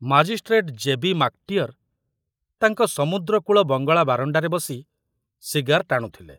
Magistrate J B. ମାକଟିଅର ତାଙ୍କ ସମୁଦ୍ରକୂଳ ବଙ୍ଗଳା ବାରଣ୍ଡାରେ ବସି ସିଗାର ଟାଣୁଥିଲେ।